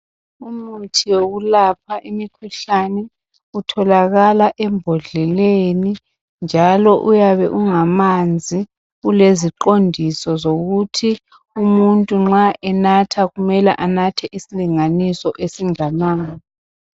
Umuthi wokulapha imikhuhlane utholakala embodleleni njalo uyabe ungamanzi uleziqondiso zokuthi umuntu nxa enatha kumele anathe isilinganiso esinganani.